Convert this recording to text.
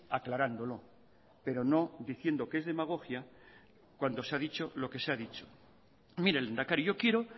aclarándolo pero no diciendo que es demagogia cuando se ha dicho lo que se ha dicho mire lehendakari yo quiero